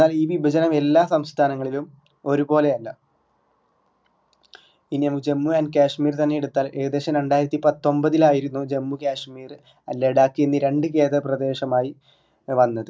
എന്നാൽ ഈ വിഭജനം എല്ലാ സംസ്ഥാനങ്ങളിലും ഒര്പോലെ അല്ല ഇനി നമ്മുക്ക് ജമ്മു and കശ്മീർ തന്നെ എടുത്താല് ഏകദേശം രണ്ടായിരത്തിപത്തൊമ്പതിലായിരുന്നു ജമ്മുകശ്മീർ ലഡാക്ക് എന്നീ രണ്ടു കേന്ദ്രപ്രദേശമായി വന്നത്